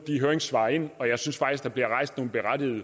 høringssvarene ind og jeg synes faktisk at der bliver rejst nogle berettigede